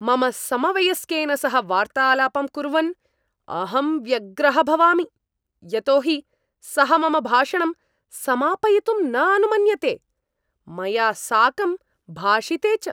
मम समवयस्केन सह वार्तालापं कुर्वन् अहं व्यग्रः भवामि यतो हि सः मम भाषणं समापयितुं न अनुमन्यते, मया साकं भाषिते च ।